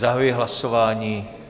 Zahajuji hlasování.